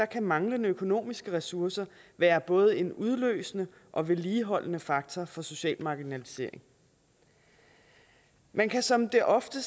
kan manglende økonomiske ressourcer være både en udløsende og vedligeholdende faktor for social marginalisering man kan som det ofte